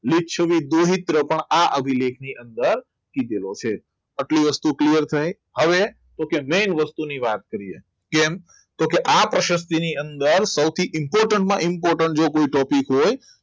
મિચ્છામી દુહિતરો પણ આ અભિલેખની અંદર કીધેલો છે આટલી વસ્તુની clear થાય. હવે તો કે main વસ્તુની વાત કરીએ કેમ તો કે આ પ્રોસેસવી ની અંદર સૌથી important માં important જો કોઈ topic હોય